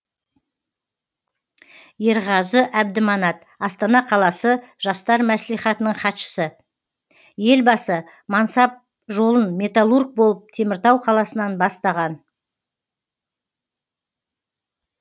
ерғазы әбдіманат астана қаласы жастар мәслихатының хатшысы елбасы мансап жолын металлург болып теміртау қаласынан бастаған